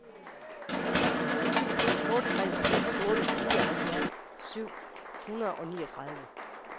otte tre fem otte nioghalvfjerds syv hundrede og niogtredive